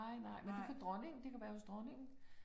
Nej, nej. Men det kunne dronningen. Det kunne være hos dronningen